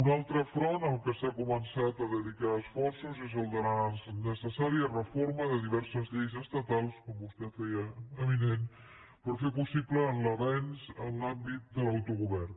un altre front a què s’ha començat a dedicar esforços és el de la necessària reforma de diverses lleis estatals com vostè feia avinent per fer possible l’avenç en l’àmbit de l’autogovern